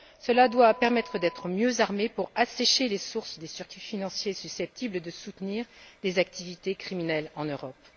Cela doit nous permettre d'être mieux armés pour assécher les sources des circuits financiers susceptibles de soutenir des activités criminelles en Europe.